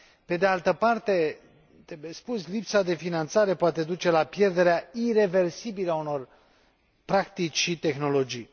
Pe de altă parte, trebuie spus, lipsa de finanțare poate duce la pierderea ireversibilă a unor practici și tehnologii.